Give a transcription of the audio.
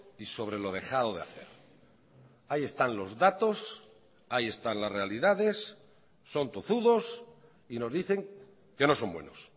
y sobre lo dejado de hacer ahí están los datos ahí están las realidades son tozudos y nos dicen que no son buenos